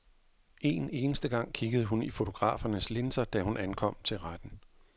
Én eneste gang kiggede hun op i fotografernes linser, da hun ankom til retten.